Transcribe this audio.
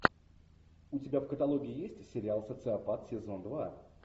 у тебя в каталоге есть сериал социопат сезон два